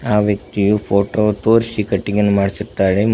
ಆ ವ್ಯಕ್ತಿಯು ಫೋಟೋ ತೋರ್ಸಿ ಕಟಿಂಗನ್ನು ಮಾಡ್ಸುತ್ತಾಳೆ.